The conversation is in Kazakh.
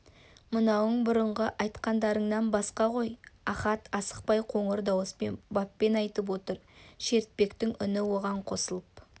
мынауың бұрынғы айтқандарыңнан басқа ғой ахат асықпай қоңыр дауыспен баппен айтып отыр шертпектің үні оған қосылып